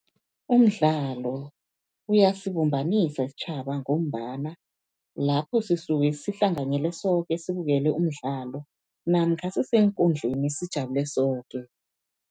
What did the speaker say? Umdlalo uyasibumbanisa isitjhaba ngombana lapho sisuke sihlanganyele soke sibukele umdlalo namkha ngiseenkundleni sijabule soke.